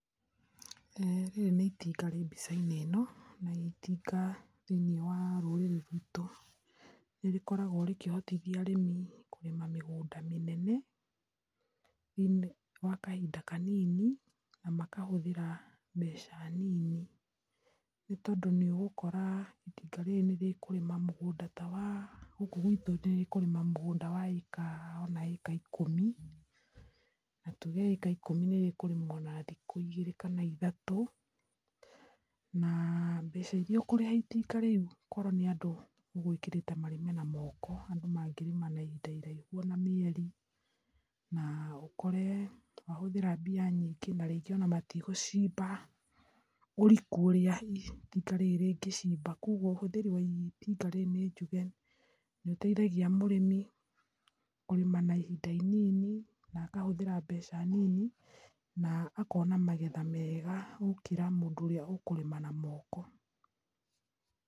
Rĩrĩ nĩ itinga rĩ mbicainĩ ĩno, na itinga thĩinĩ wa rũrĩrĩ rwitũ nĩ rĩkoragwa rĩkĩhotithia arĩmi kũhanda mĩgũnda mĩnene thĩinĩ wa kahinda kanini na makahũthĩra mbeca nini nĩ tondũ nĩũgũkora itinga rĩrĩ nĩrĩkũrĩma mũgũnda ta wa gũkũ gwitũ nĩrĩkũrĩma mũgũnda wa maeka ikũmi na eka ikũmi nĩrĩkũrĩmwa na thikũ igĩrĩ kana ithatũ na mbeca iria ũkũrĩha itinga rĩũ korwo nĩ andũ ũgũikarĩte mũrĩme namoko andũ mangĩ thii ihinda iraihu ona mĩeri na ũkore wahũthĩra mbia nyingĩ na rĩngĩ ona matigũcimba ũriku ũria itinga rĩrĩ rĩngĩcimba, kwoguo ũhũthĩri wa itinga rĩrĩ nojuge nĩteithagia mũrĩmi kũrĩma na ihinda inini na akahũthĩra mbeca nini na akona magetha mega gũkĩra mũndũ ũrĩa ũkũrĩma na moko.